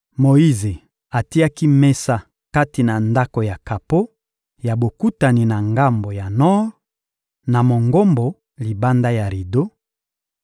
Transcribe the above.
Moyize atiaki mesa kati na Ndako ya kapo ya Bokutani na ngambo ya nor ya Mongombo libanda ya rido;